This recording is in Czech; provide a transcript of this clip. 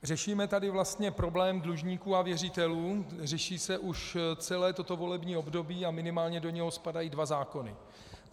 Řešíme tady vlastně problém dlužníků a věřitelů, řeší se už celé toto volební období a minimálně do něho spadají dva zákony.